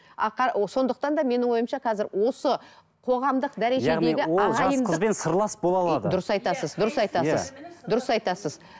а сондықтан да менің ойымша қазір осы қоғамдық дәрежедегі дұрыс айтасыз